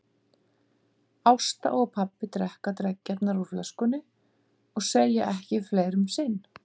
Ásta og pabbi drekka dreggjarnar úr flöskunni og segja ekki fleira um sinn.